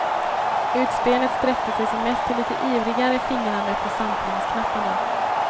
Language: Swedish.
Utspelet sträckte sig som mest till lite ivrigare fingrande på samplingsknapparna.